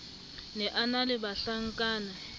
ne a na le bahlankana